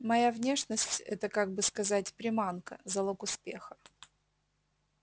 моя внешность это как бы сказать приманка залог успеха